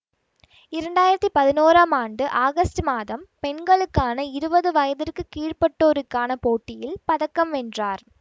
இரண்டாயிரத்தி பதினோறாம் ஆண்டு ஆகஸ்டு மாதம் பெண்களுக்கான இருவது வயதிற்கு கீழ்ப்பட்டோருக்கான போட்டியில் பதக்கம் வென்றார்